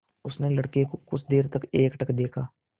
उसने लड़के को कुछ देर तक एकटक देखा